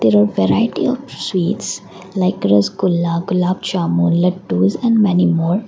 a variety of sweets like rasgulla gulab jamun laddus and many more.